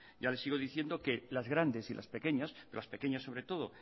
ya le sigo diciendo que las grandes y las pequeñas las pequeñas sobre todo